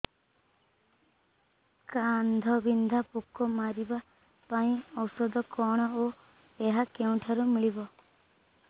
କାଣ୍ଡବିନ୍ଧା ପୋକ ମାରିବା ପାଇଁ ଔଷଧ କଣ ଓ ଏହା କେଉଁଠାରୁ ମିଳିବ